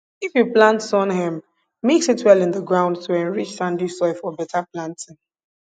if you plant sun hemp mix it well in the ground to enrich sandy soil for better planting